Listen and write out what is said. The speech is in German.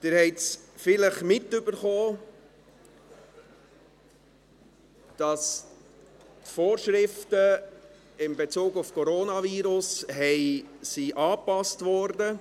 Sie haben vielleicht mitgekriegt, dass die Vorschriften in Bezug auf das Coronavirus angepasst wurden.